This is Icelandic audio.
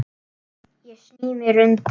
Ég sný mér undan.